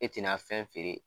E ti na fɛn feere